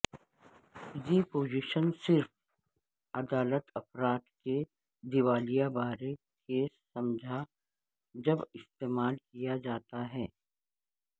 یہ پوزیشن صرف عدالت افراد کے دیوالیہ بارے کیس سمجھا جب استعمال کیا جاتا ہے